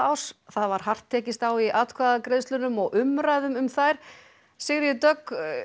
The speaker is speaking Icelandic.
árs það var hart tekist á í atkvæðagreiðslunum og umræðum um þær Sigríður Dögg